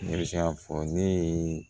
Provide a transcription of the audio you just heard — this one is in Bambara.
Ne bɛ se k'a fɔ ne ye